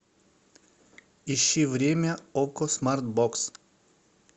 ищи время окко смарт бокс